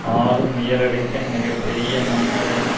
ஆளும் உயரடுக்கின் மிக பெரிய முன்னுரிமை